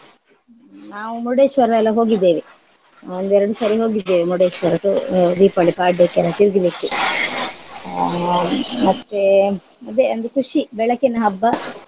ನಾವು ಮುರುಡೇಶ್ವರ ಎಲ್ಲ ಹೋಗಿದ್ದೇವೆ ಒಂದು ಎರಡು ಸರಿ ಹೋಗಿದ್ದೇವೆ ಮುರುಡೇಶ್ವರಕ್ಕೆ ದೀಪಾವಳಿ ಪಾಡ್ಯಕ್ಕೆಲ್ಲ ತಿರ್ಗ್ಲಿಕ್ಕೆ. ಅಹ್ ಮತ್ತೆ ಅದೇ ಒಂದು ಖುಷಿ ಬೆಳಕಿನ ಹಬ್ಬ.